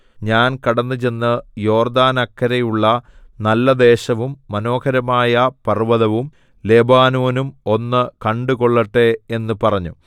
ഞാൻ കടന്നുചെന്ന് യോർദ്ദാനക്കരെയുള്ള നല്ല ദേശവും മനോഹരമായ പർവ്വതവും ലെബാനോനും ഒന്ന് കണ്ടുകൊള്ളട്ടെ എന്ന് പറഞ്ഞു